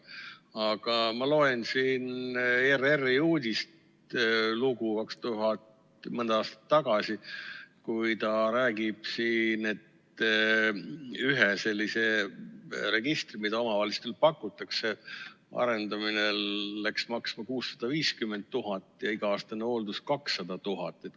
Aga ma loen siin ERR-i mõne aasta tagust uudislugu, kus räägitakse, et ühe sellise registri, mida omavalitsustele pakutakse, arendamine läks maksma 650 000 eurot ja iga-aastane hooldus 200 000 eurot.